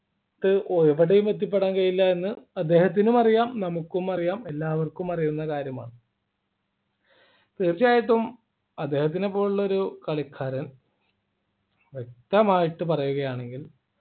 ക്ക് എവിടെയും എത്തിപ്പെടാൻ കഴിയില്ല എന്ന് അദ്ദേഹത്തിനും അറിയാം നമുക്കും അറിയാം എല്ലാവർക്കും അറിയുന്ന കാര്യമാണ് തീർച്ചയായിട്ടും അദ്ദേഹത്തിനെ പോലുള്ള ഒരു കളിക്കാരൻ വ്യക്തമായിട്ട് പറയുകയാണെങ്കിൽ